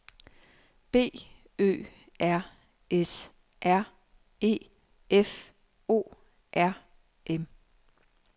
B Ø R S R E F O R M